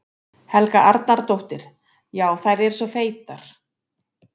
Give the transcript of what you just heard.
Helga Arnardóttir: Já, eru þær svona feitar?